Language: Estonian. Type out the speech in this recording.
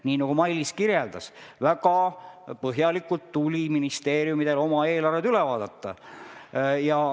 Nii nagu Mailis kirjeldas, väga põhjalikult tuli ministeeriumidel oma eelarved üle vaadata.